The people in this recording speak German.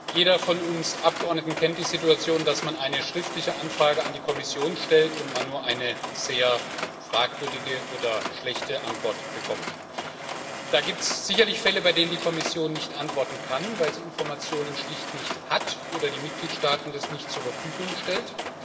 Jeder von uns Abgeordneten kennt die Situation, dass man eine Anfrage zur schriftlichen Beantwortung an die Kommission stellt und nur eine sehr fragwürdige oder schlechte Antwort bekommt. Da gibt es sicherlich Fälle, bei denen die Kommission nicht antworten kann, weil sie Informationen schlicht nicht hat oder die Mitgliedstaaten das nicht zur Verfügung stellen.